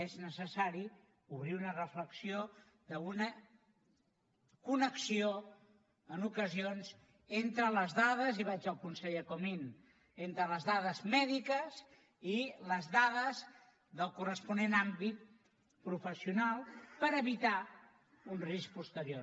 és necessari obrir una reflexió d’una connexió en ocasions entre les dades i vaig al conseller comín mèdiques i les dades del corresponent àmbit professional per evitar un risc posterior